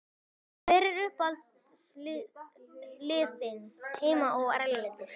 Hver eru uppáhaldslið þín heima og erlendis?